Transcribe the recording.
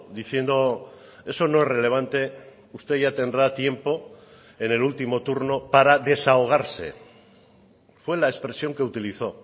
diciendo eso no es relevante usted ya tendrá tiempo en el último turno para desahogarse fue la expresión que utilizó